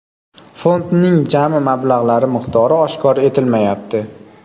Fondning jami mablag‘lari miqdori oshkor etilmayapti.